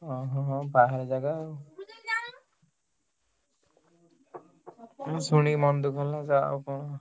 ଓହୋ ହଉ ବାହାର ଜାଗା ଆଉ। bgspeech ମୁଁ ଶୁଣିକି ମନ ଦୁଃଖ ହେଲା ଯା ଆଉ କଣ।